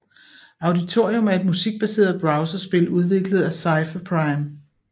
Auditorium er et musikbaseret browserspil udviklet af Cipher Prime